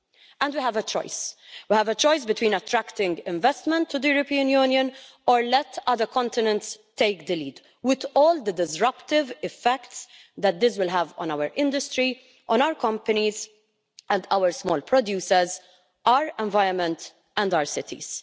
And we have a choice we have a choice between attracting investment to the European Union or letting other continents take the lead, with all the disruptive effects that this will have on our industry, on our companies and our small producers, our environment and our cities.